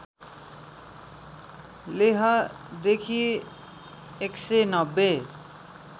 लेहदेखि १९०